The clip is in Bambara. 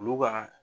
Olu ka